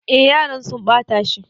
E, yaran sun ɓata shi.